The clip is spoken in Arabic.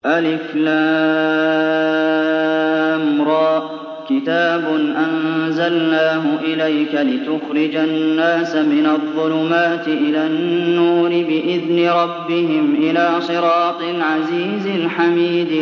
الر ۚ كِتَابٌ أَنزَلْنَاهُ إِلَيْكَ لِتُخْرِجَ النَّاسَ مِنَ الظُّلُمَاتِ إِلَى النُّورِ بِإِذْنِ رَبِّهِمْ إِلَىٰ صِرَاطِ الْعَزِيزِ الْحَمِيدِ